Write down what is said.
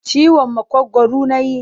Ciwon maƙogwaru na yi.